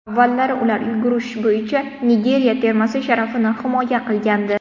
Avvallari ular yugurish bo‘yicha Nigeriya termasi sharafini himoya qilgandi.